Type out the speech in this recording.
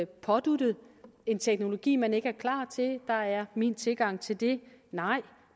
påduttet en teknologi man ikke er klar til min tilgang til det er nej